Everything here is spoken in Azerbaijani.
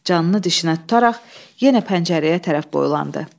Canını dişinə tutaraq yenə pəncərəyə tərəf boylandı.